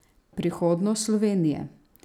Prihodnost Slovenije?